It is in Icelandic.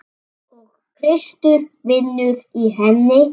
Og Kristur vinnur í henni.